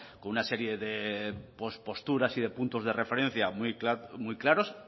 con una serie de pos posturas y de puntos de referencia muy claros